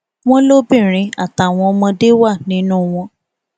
wọn lóbìnrin àtàwọn ọmọdé wà nínú wọn